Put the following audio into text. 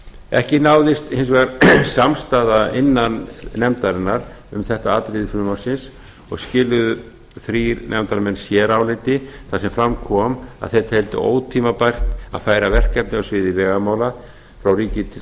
ekki náðist hins vegar samstaða innan nefndarinnar um þetta atriði frumvarpsins og skiluðu þrír nefndarmenn séráliti þar sem fram kom að þeir teldu ótímabært að færa verkefni á sviði vegamála frá ríki til